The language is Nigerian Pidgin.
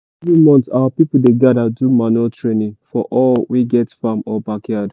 every month our people dey gather do manure training for all wey get farm or backyard.